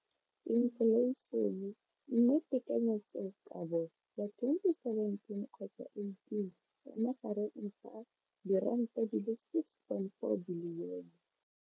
Infleišene, mme tekanyetsokabo ya 2017 kgotsa 18 e magareng ga R6.4 bilione.